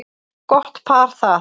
Gott par það.